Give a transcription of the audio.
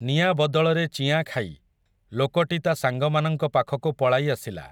ନିଆଁ ବଦଳରେ ଚିଆଁ ଖାଇ, ଲୋକଟି ତା ସାଙ୍ଗମାନଙ୍କ ପାଖକୁ ପଳାଇ ଆସିଲା ।